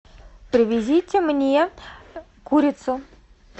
привезите мне курицу